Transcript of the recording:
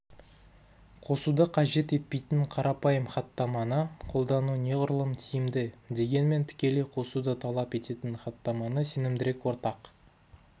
қосуды қажет етпейтін қарапайым хаттаманы қолдану неғұрлым тиімді дегенмен тікелей қосуды талап ететін хаттаманы сенімдірек ортақ